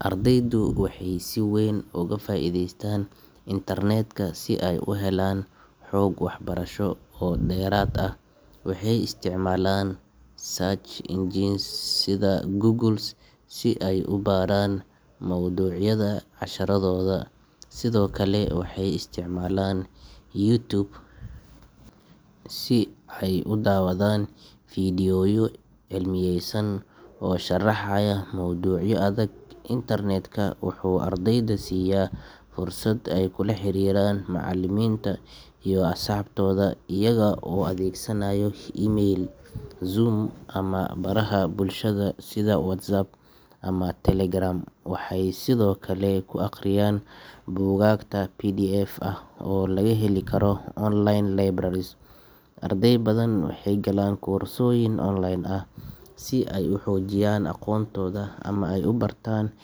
ardaydu waxay si weyn uga faa'iideystaan internet-ka si ay u helaan xog waxbarasho oo dheeraad ah waxay isticmaalaan search engines sida Google si ay u baaraan mawduucyada casharradooda sidoo kale waxay isticmaalaan YouTube si ay u daawadaan fiidiyowyo cilmiyaysan oo sharaxaya mowduucyo adag internet-ka wuxuu ardayda siiya fursad ay kula xiriiraan macallimiinta iyo asxaabtooda iyaga oo adeegsanaya email, Zoom, ama baraha bulshada sida WhatsApp ama Telegram waxay sidoo kale ku akhriyaan buugaagta PDF ah oo laga heli karo online libraries arday badan waxay galaan koorsooyin online ah si ay u xoojiyaan aqoontooda ama ay u bartaan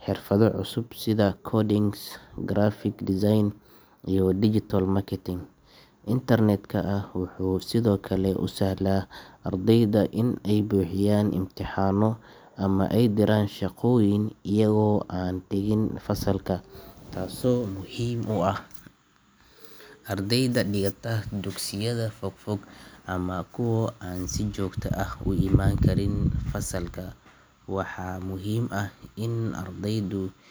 xirfado cusub sida coding, graphic design, iyo digital marketing internet-ka wuxuu sidoo kale u sahlaa ardayda inay buuxiyaan imtixaanno ama ay diraan shaqooyin iyaga oo aan tegin fasalka taasoo muhiim u ah ardayda dhigata dugsiyada fogfog ama kuwa aan si joogto ah u imaan karin fasalka waxaa muhiim ah in ardaydu.